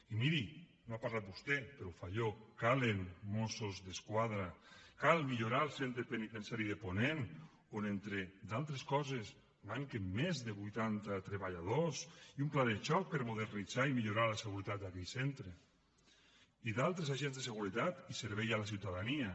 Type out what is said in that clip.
i miri no n’ha parlat vostè però ho faig jo calen mossos d’esquadra cal millorar el centre penitenciari de ponent on entre d’altres coses manquen més de vuitanta treballadors i un pla de xoc per modernitzar i millorar la seguretat d’aquell centre i d’altres agents de seguretat i servei a la ciutadania